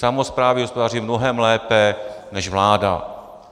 Samosprávy hospodaří mnohem lépe než vláda.